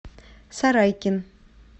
сарайкин